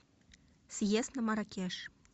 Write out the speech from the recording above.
съезд на маракеш